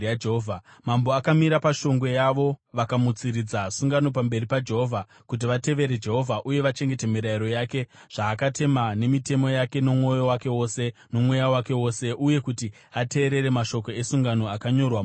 Mambo akamira pashongwe yavo vakamutsiridza sungano pamberi paJehovha, kuti vatevere Jehovha uye vachengete mirayiro yake, zvaakatema nemitemo yake nomwoyo wake wose nomweya wake wose uye kuti ateerere mashoko esungano akanyorwa mubhuku iri.